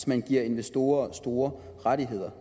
man giver investorer store rettigheder